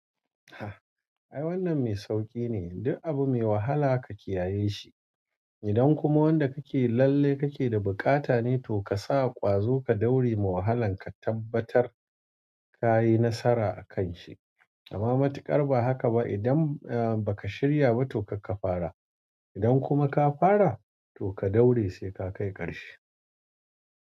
Ai wannan mai sauƙi ne, duk abu mai wahala ka kiyaye shi. Idan kuma wanda kake lalle kake da buƙata ne to ka sa ƙwazo ka daure wa wahalan ka tabbatar ka yi nasara a kan shi. Amma matuƙar ba haka ba, idan ba ka shirya ba to karka fara. Idan kuma ka fara to ka daure sai ka kai ƙarshe.